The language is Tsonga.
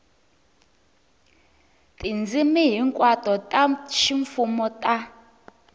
tindzimi hinkwato ta ximfumo ta